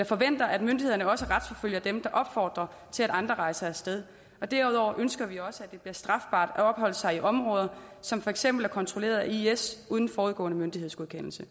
forventer at myndighederne også retsforfølger dem der opfordrer til at andre rejser af sted og derudover ønsker vi også at det bliver strafbart at opholde sig i områder som for eksempel er kontrolleret af is uden forudgående myndighedsgodkendelse